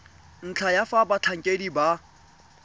ntlha ya fa batlhankedi ba